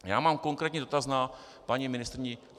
Já mám konkrétní dotaz na paní ministryni.